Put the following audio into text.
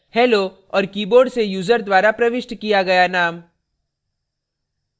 hello और keyboard से user द्वारा प्रविष्ट किया गया name